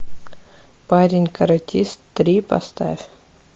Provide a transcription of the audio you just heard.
парень каратист три поставь